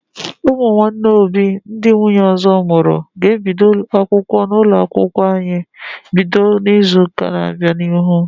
Ụmụnne Obi ndị nwunye ọzọ mụrụ ga ebido akwụkwọ n'ụlọ akwụkwọ anyị bido n'izuka na bịa n'ihu